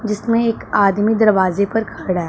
जिसमें एक आदमी दरवाजे पर खड़ा है।